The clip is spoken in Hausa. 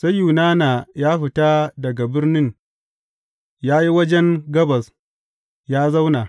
Sai Yunana ya fita daga birnin ya yi wajen gabas, ya zauna.